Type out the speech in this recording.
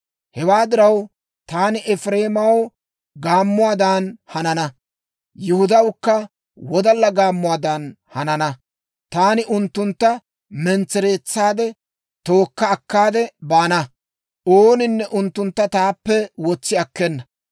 Hewaa diraw, taani Efireemaw gaammuwaadan hanana; Yihudawukka wodalla gaammuwaadan hanana. Taani unttuntta mentsereetsaadde, tookka akkaade baana; ooninne unttuntta taappe wotsi akkena.